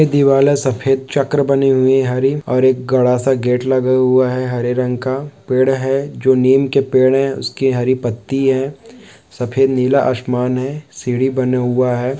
दीवाना सफेद चक्र बनी हुई हरी और एक बड़ा सा गेट लगा हुआ है हरे रंग का पेड़ है जो नीम के पेड़ है उसकी हरी पत्ती है सफेद नीला आसमान है सीढ़ी बना हुआ है।